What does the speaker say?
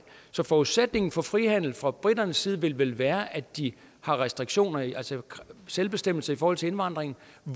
så forudsætningen for frihandel fra briternes side vil vel være at de har restriktioner altså selvbestemmelse i forhold til indvandring